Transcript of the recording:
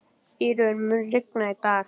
Írunn, mun rigna í dag?